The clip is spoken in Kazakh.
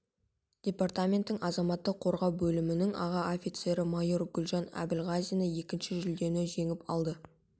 департаменттің азаматтық қорғау бөлімінің аға офицері майор гүлжан әбілғазина екінші жүлдені жеңіп алды